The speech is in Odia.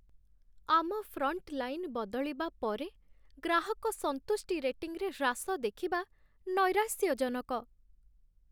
ଆମ ଫ୍ରଣ୍ଟଲାଇନ୍ ବଦଳିବା ପରେ ଗ୍ରାହକ ସନ୍ତୁଷ୍ଟି ରେଟିଂରେ ହ୍ରାସ ଦେଖିବା ନୈରାଶ୍ୟଜନକ।